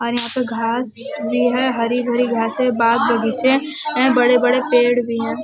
और यहां पर घास भी है। हरी भरी घासें बाग़ बगीचे बड़े बड़े पेड़ भी हैं।